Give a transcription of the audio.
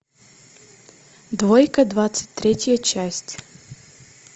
двойка двадцать третья часть